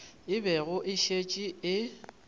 e bego e šetše e